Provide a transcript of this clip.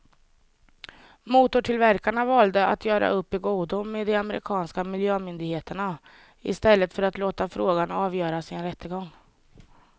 Motortillverkarna valde att göra upp i godo med de amerikanska miljömyndigheterna i stället för att låta frågan avgöras i en rättegång.